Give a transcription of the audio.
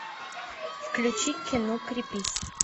включи кино крепись